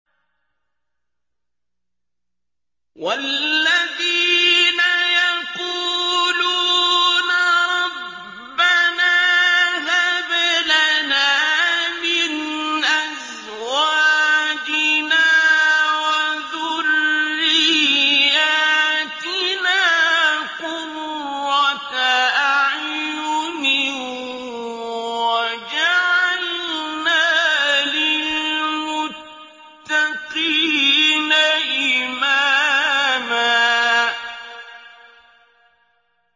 وَالَّذِينَ يَقُولُونَ رَبَّنَا هَبْ لَنَا مِنْ أَزْوَاجِنَا وَذُرِّيَّاتِنَا قُرَّةَ أَعْيُنٍ وَاجْعَلْنَا لِلْمُتَّقِينَ إِمَامًا